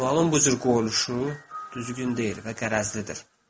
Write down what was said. Sualın bu cür qoyuluşu düzgün deyil və qərəzlidir.